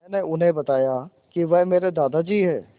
मैंने उन्हें बताया कि वह मेरे दादाजी हैं